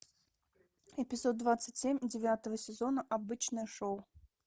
эпизод двадцать семь девятого сезона обычное шоу